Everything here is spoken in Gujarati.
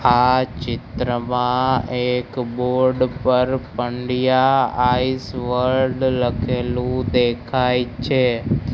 આ ચિત્રમાં એક બોર્ડ પર પંડ્યા આઈસ વર્લ્ડ લખેલુ દેખાય છે.